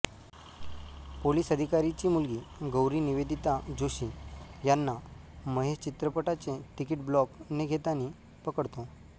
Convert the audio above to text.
police अधिकारीची मुलगी गौरी निवेदिता जोशी यांना महेश चित्रपटाचे तिकीट ब्लॉक ने घेतानी पकडतो